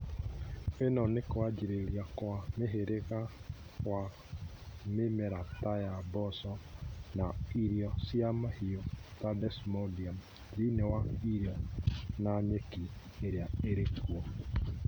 ĩno nĩ kwanjĩrĩria Kwa mũhĩrĩga wa mĩmera taya mboco na irio cia mahiũ ta desmodium thĩinĩ wa irio na nyeki iria irĩkuo